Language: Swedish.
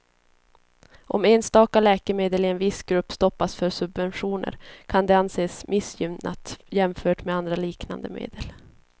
Om enstaka läkemedel i en viss grupp stoppas för subventioner kan det anses missgynnat jämfört med andra liknande medel.